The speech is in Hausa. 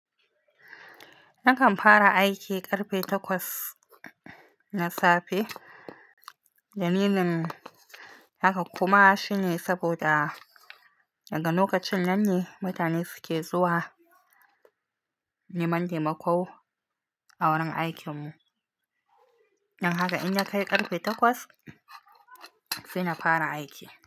Nakan fara aiki ƙarfe takwas na safe. Dalilin haka kuma shine saboda daga lokacin nan ne mutane suke zuwa neman taimako a wurin aikin mu. Don haka idan ka kai ƙarfe takwas, sai na fara aiki.